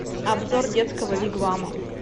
обзор детского вигвама